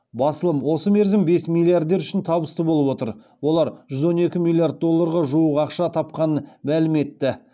басылым осы мерзім бес миллиардер үшін табысты болып отыр олар жүз он екі миллиард долларға жуық ақша тапқанын мәлім етті